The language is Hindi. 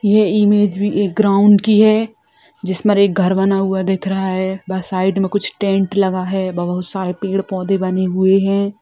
ये इमेज एक ग्राउंड की है जिसमें एक घर बना हुआ दिख रहा है बस साइड में कुछ टेंट लगा हुआ है बहुत सारे पेड पौधे बने हुए हैं।